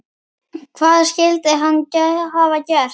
Hvað skyldi hann hafa gert?